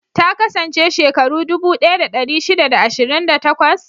Ta kasance shekaru dubu ɗaya da ɗari shida da ashirin da takwas?